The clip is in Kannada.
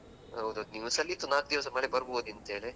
ಹೌದು news ನಲ್ಲಿ ಇತ್ತು ನಾಲ್ಕು ದಿವಸ ಮಳೆ ಬರಬಹುದಂತೇಳಿ.